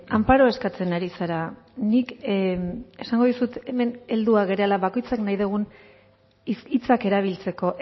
anparo eskatzen ari zara nik esango dizut hemen helduak garela bakoitzak nahi dugun hitzak erabiltzeko